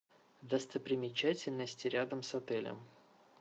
достопримечательности рядом с отелем